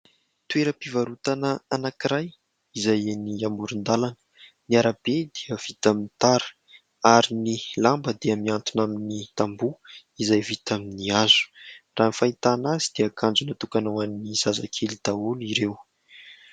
Toeram-pivarotana anankiray izay eny amoron-dàlana. Ny arabe dia vita amin'ny tara ary ny lamba dia mihantona amin'ny tamboho izay vita amin'ny hazo, raha ny fahitana azy dia akanjo natokana ho an'ny zazakely daholo ireo.